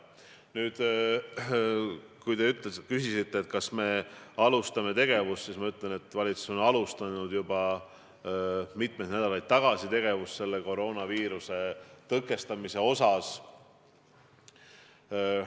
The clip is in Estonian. Nüüd, kui te küsisite, kas me alustame tegevust, siis ma ütlen, et valitsus alustas juba mitu nädalat tagasi koroonaviiruse tõkestamisele suunatud tegevust.